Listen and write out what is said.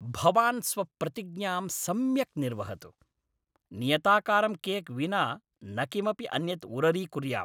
भवान् स्वप्रतिज्ञां सम्यक् निर्वहतु। नियताकारं केक् विना न किमपि अन्यद् उररीकुर्याम्।